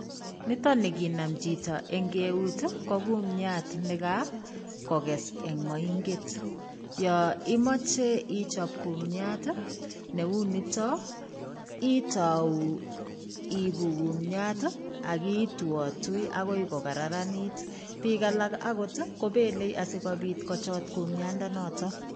Nitani kinam chiti ing' keut i ko komuiat ne kakokess eng' mainget. Ya imache ichop kumiat ne u nitok, itau iipu kumiat akituatui akoi kokararanit. Piik alak akot kopelei asikopit kochot kumiandanotok.